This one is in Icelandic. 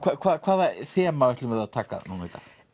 hvaða þema ætlum við að taka núna